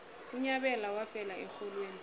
unyabela wafela erholweni